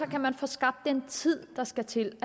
kan man få skabt den tid der skal til